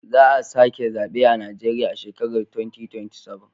Za a sake zabe a Najeriya a shekara ta 2027.